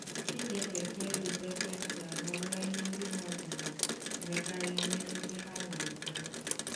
inyefe kredit ekwentị aghọọla ihe ndị mmadụ na-emekarị nye ndị ha hụrụ n'anya.